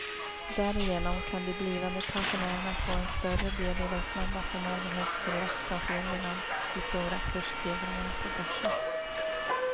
Därigenom kan de blivande pensionärerna få en större del i den snabba förmögenhetstillväxt som sker genom de stora kursstegringarna på börsen.